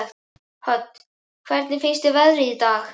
Hödd: Hvernig finnst þér veðrið í dag?